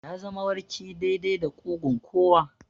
Ya zama warki daidai da ƙugun kowa.